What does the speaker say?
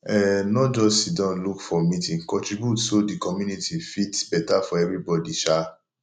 um no just siddon look for meeting contribute so the community fit better for everybody um